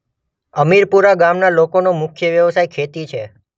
અમીરપુરા ગામના લોકોનો મુખ્ય વ્યવસાય ખેતી છે.